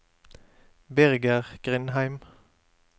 Birger Grindheim